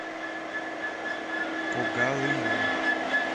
когалымом